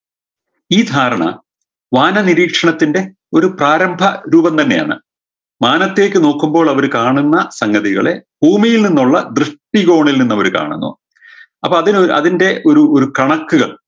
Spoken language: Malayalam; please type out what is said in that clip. ഈ ധാരണ വാനനിരീക്ഷണത്തിൻറെ ഒരു പ്രാരംഭ രൂപം തന്നെയാണ് മാനത്തേക്ക് നോക്കുമ്പോൾ അവര് കാണുന്ന സംഗതികളെ ഭൂമിയിൽ നിന്നുള്ള ദൃഷ്ടികോണിൽ നിന്നവര് കാണുന്നു അപ്പൊ അതിനൊ അതിൻറെ ഒരു ഒരു കണക്കുകൾ